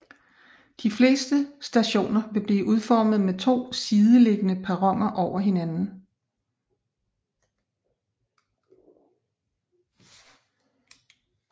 De fleste stationer vil blive udformet med to sideliggende perroner overfor hinanden